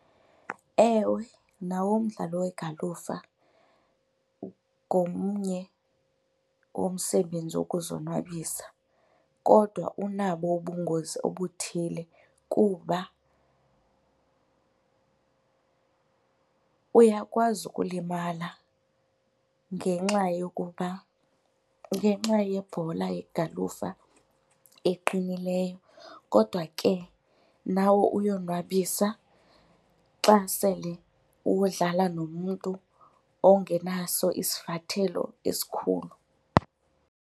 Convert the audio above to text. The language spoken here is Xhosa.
Ewe, nawo umdlalo wegalufa ngomnye womsebenzi wokuzonwabisa kodwa unabo ubungozi obuthile kuba uyakwazi ukulimala ngenxa yokuba, ngenxa yebhola yegalufa eqinileyo kodwa ke nawo uyonwabisa xa sele uwudlala nomntu ongenaso isivathelo esikhulu.